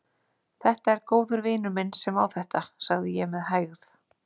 Það er góður vinur minn sem á þetta, sagði ég með hægð.